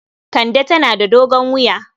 Kande tana da dogon wuya.